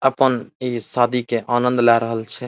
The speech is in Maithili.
अपन इ शादी के आनंद लाय रहल छै।